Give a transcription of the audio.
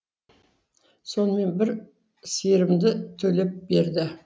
сонымен бір сиырымды төлеп берді